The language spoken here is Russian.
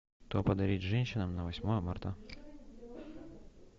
что подарить женщинам на восьмое марта